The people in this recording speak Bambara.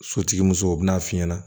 Sotigi muso u bɛn'a f'i ɲɛna